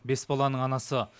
бес баланың анасы